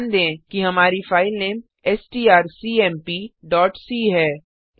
ध्यान दें कि हमारी फाइलनेमstrcmpc है